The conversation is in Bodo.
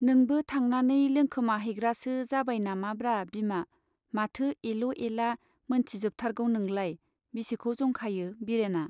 नोंबो थांनानै लोंखोमा हैग्रासो जाबाय नामाब्रा बिमा ? माथो एल' एला मोनथिजोबथारगौ नोंलाय ? बिसिखौ जंखायो बिरेना